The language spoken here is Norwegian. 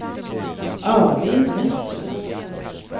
Arvid Nesset